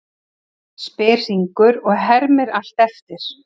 spyr Hringur og hermir allt eftir.